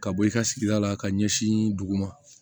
Ka bɔ i ka sigida la ka ɲɛsin duguma